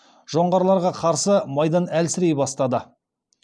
жоңғарларға қарсы майдан әлсірей бастады